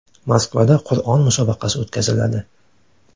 Moskvada Qur’on musobaqasi o‘tkaziladi.